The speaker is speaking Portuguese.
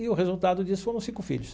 E o resultado disso foram cinco filhos.